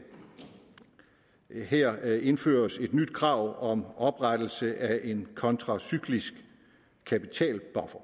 er her indføres et nyt krav om oprettelse af en kontracyklisk kapitalbuffer